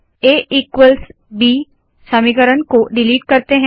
आ equals ब समीकरण को डिलीट करते है